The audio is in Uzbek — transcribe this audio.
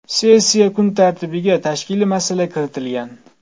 Sessiya kun tartibiga tashkiliy masala kiritilgan.